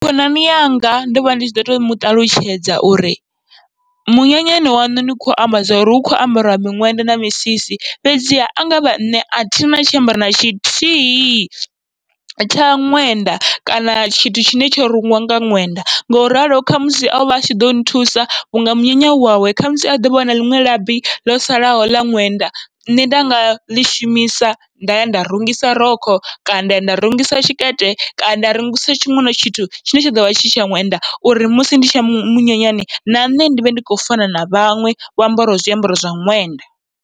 Khonani yanga ndovha ndi tshi ḓo to muṱalutshedza uri munyanyani waṋu ni kho amba zwori hu kho ambariwa miṅwenda na misisi, fhedziha angavha nṋe athina tshiambaro na tshithihi tsha ṅwenda kana tshithu tshine tsho rungiwa nga ṅwenda. Ngoralo khamusi ovha atshi ḓo nthusa vhunga munyanya u wawe, khamusi a ḓovha ana liṅwe labi ḽo salaho ḽa ṅwenda nṋe nda ngaḽi shumisa, nda ya nda rungisa rokho kana nda ya nda rungisa tshikete kana nda ya nda rungisa tshiṅwe tshithu tshine tsha ḓovha tshi tsha ṅwenda, uri musi ndi tshi ya munyanyani na nṋe ndivhe ndi kho fana na vhaṅwe vho ambaraho zwiambaro zwa ṅwenda.